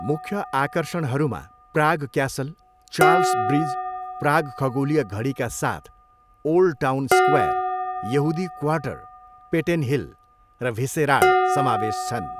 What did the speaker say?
मुख्य आकर्षणहरूमा Prague castle, Charles bridge, Prague खगोलीय घडीका साथ ओल्ड टाउन स्क्वायर, यहुदी क्वार्टर, पेटेन हिल र भिसेराड समावेश छन्।